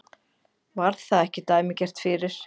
Var það ekki dæmigert fyrir